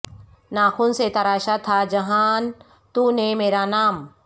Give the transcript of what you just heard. ناخن سے تراشا تھا جہان تو نے میرا نام